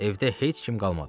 Evdə heç kim qalmadı.